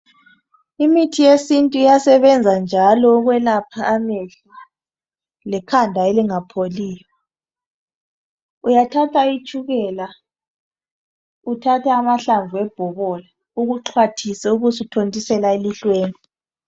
Imithi yesintu iyasebenza njalo ukwelapha amehlo lekhanda elingapholiyo, uyathatha itshukela uthathe amahlamvu ebhobola ukuxhwathise ubusuthontisela elihlweni.